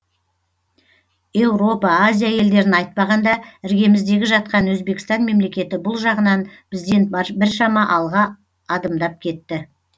еуропа азия елдерін айтпағанда іргеміздегі жатқан өзбекстан мемлекеті бұл жағынан бізден біршама алға адымдап кетті